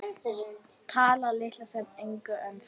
Talar litla sem enga ensku.